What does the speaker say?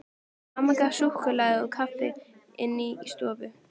Amma gaf súkkulaði og kaffi inni í stofu.